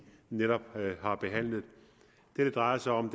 netop har behandlet det det drejer sig om